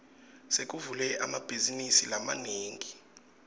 sekuvulwe emabhazinisi lamanengi